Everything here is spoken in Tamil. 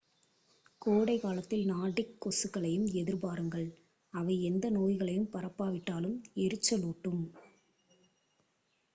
கோடைக் காலத்தில் நார்டிக் கொசுக்களையும் எதிர்பாருங்கள் அவை எந்த நோய்களையும் பரப்பாவிட்டாலும் எரிச்சலூட்டலாம்